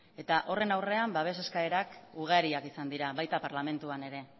eta horren aurrean babes eskaerak ugariak izan dira baita parlamentuan ere